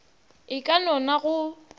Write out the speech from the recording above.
e ka no na go